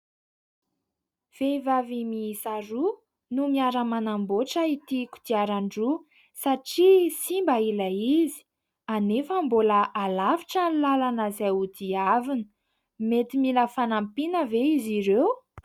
Vehivavy miisaroa no miara-manamboatra ity kodiaran-droa satria simba ilay izy, anefa mbola halavitra ny lalana izay hodiavina. Mety mila fanampiana ve izy ireo?